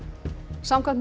samkvæmt